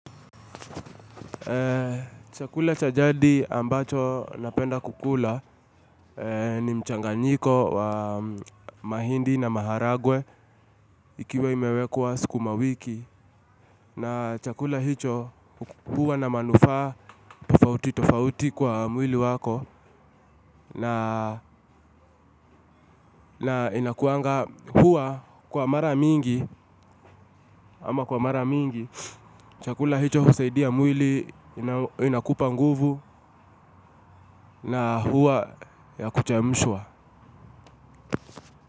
Chakula cha jadi ambacho napenda kukula ni mchanganyiko wa mahindi na maharagwe ikiwa imewekwa sukumawiki. Na chakula hicho huwa na manufaa tofauti tofauti kwa mwili wako na na inakuanga, huwa kwa mara mingi, ama kwa mara mingi chakula hicho husaidia mwili inakupa nguvu na huwa ya kuchemshwa.